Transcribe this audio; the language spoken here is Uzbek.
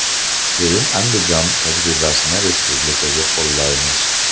Keyin Andijon tajribasini respublikaga qo‘llaymiz.